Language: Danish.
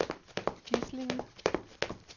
Gislinge